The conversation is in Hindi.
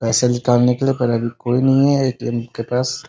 पैसे निकालने के लिए पर अभी कोई नहीं है ए.टी.एम. के पास ।